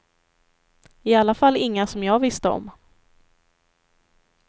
I alla fall inga som jag visste om.